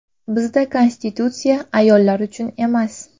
Bizda Konstitutsiya ayollar uchun emas.